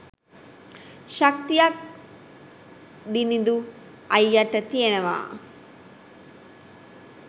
ශක්තියක් දිනිඳු අයියට තියෙනවා